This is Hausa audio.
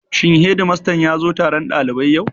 Shin hedimastan ya zo taron ɗalibai yau?